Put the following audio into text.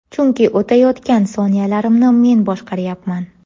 Chunki o‘tayotgan soniyalarimni men boshqaryapman!